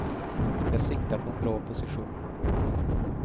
Jag siktar på en bra position. punkt